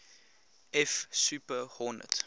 f super hornet